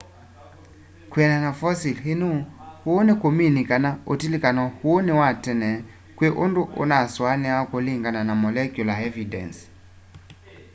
kwianana na fosil ino uu nikumini kana utilikano uu ni wa tene kwi undu unasuaniawa kulingana na molecular evidence